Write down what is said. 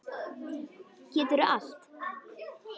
Geturðu allt?